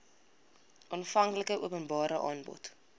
aanvanklike openbare aanbod